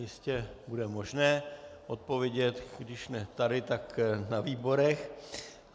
Jistě bude možné odpovědět, když ne tady, tak na výborech.